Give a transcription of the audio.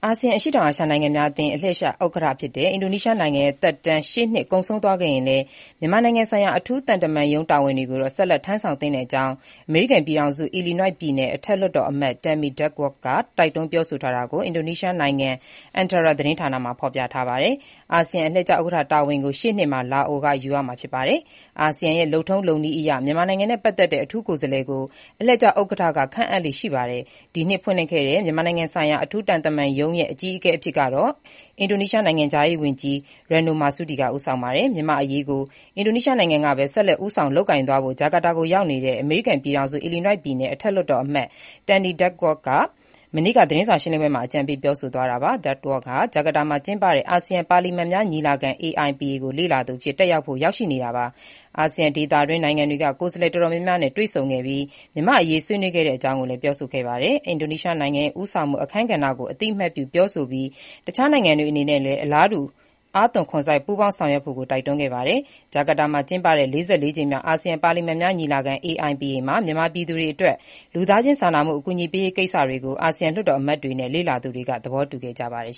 ာဆီယံ အရှေ့တောင်အာရှနိုင်ငံများအသင်းရဲ့ အလှည့်ကျ ဥက္ကဋ္ဌအဖြစ် အင်ဒိုနီးရှားနိုင်ငံရဲ့ သက်တမ်း ရှေ့နှစ်ကုန်ဆုံးသွားခဲ့ရင်လည်း မြန်မာနိုင်ငံဆိုင်ရာ အထူးသံတမန်ရုံး တာဝန်တွေကိုတော့ ဆက်လက် ထမ်းဆောင်သင့်တဲ့အကြောင်း အမေရိကန်ပြည်ထောင်စု Illinois ပြည်နယ် အထက်လွှတ်တော်အမတ် Tammy Duckworth က တိုက်တွန်းပြောဆိုပါတာကို အင်ဒီုနီးရှားနိုင်ငံ ANTARA သတင်းမှာ ဖေါ်ပြပါတယ်။ အာဆီယံအလှည့်ကျ ဥက္ကဋ္ဌတာဝန်ကို ရှေ့နှစ်မှာ လာအိုက ယူမှာဖြစ်ပါတယ်။ အာဆီယံရဲ့ လုပ်ထုံးလုပ်နည်းအရ မြန်မာနိုင်ငံနဲ့ ပတ်သက်တဲ့ အထူးကိုယ်စားလှယ်ကို အလှည့်ကျ ဥက္ကဋ္ဌက ခန့်အပ်လေ့ရှိပါတယ်။ အင်ဒိုနီးရှားနိုင်ငံ ဒီနှစ် ဖွင့်လှစ်ခဲ့တဲ့ မြန်မာနိုင်ငံဆိုင်ရာ အထူးသံတမန်ရုံးရဲ့ အကြီးအကဲအဖြစ် အင်ဒိုနီးရှားနိုင်ငံခြားရေးဝန်ကြီး Retno Marsudi က ဦးဆောင်ပါတယ်။ မြန်မာ့အရေး အင်ဒီုနီးရှားနိုင်ငံကပဲ ဆက်လက်ဦးဆောင်လုပ်ကိုင်သွားဖို့ ဂျာကာတာကို ရောက်နေတဲ့ အမေရိကန်ပြည်ထောင်စု Illinois ပြည်နယ် အထက်လွှတ်တော်အမတ် Tammy Duckworth က မနေ့က သတင်းစာ ရှင်းလင်းပွဲမှာ အကြံပေး ပြောဆိုသွားတာပါ။ Duckworth ဟာ ဂျာကာတာမှာကျင်းပတဲ့ အာဆီယံ ပါလီမန်များညီလာခံ AIPA ကို လေ့လာသူအဖြစ် တက်ရောက်ဖို့ ရောက်ရှိနေပါတယ်။ အာဆီယံဒေသအတွင်း နိုင်ငံတွေက ကိုယ်စားလှယ်တော်တော်များများနဲ့ တွေ့ဆုံပြီး မြန်မာ့အရေး ဆွေးနွေးခဲ့တဲ့အကြောင်း ပြောဆိုပါတယ်။ အင်ဒိုနီးရှားနိုင်ငံရဲ့ ဦးဆောင်မှု အခန်းကဏ္ဍကို အသိအမှတ်ပြု ပြောဆိုပြီး တခြားနိုင်ငံတွေအနေနဲ့လည်း အလားတူ အားသွန်ခွန်စိုက် ပူးပေါင်းဆောင်ရွက်ဖို တိုက်တွန်းခဲ့တာပါ။ ဂျာကာတာမှာ ကျင်းပတဲ့ ၄၄ ကြိမ်မြောက် အာဆီယံပါလီမန်များညီလာခံ AIPA မှာ မြန်မာပြည်သူတွေအတွက် လူသားချင်းစာနာမှု အကူအညီပေးရေး ကိစ္စတွေကို အာဆီယံ လွှတ်တော်အမတ်တွေနဲ့ လေ့လာသူတွေ သဘောတူခဲ့ကြပါတယ်